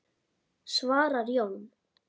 svarar Jón.